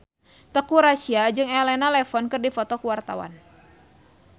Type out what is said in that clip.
Teuku Rassya jeung Elena Levon keur dipoto ku wartawan